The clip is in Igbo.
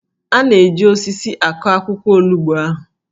A na-eji osisi akụ akwụkwọ olugbo ahụ